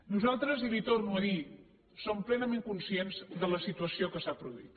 nosaltres i li ho torno a dir som plenament conscients de la situació que s’ha produït